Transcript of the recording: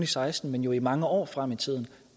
seksten men i mange år frem i tiden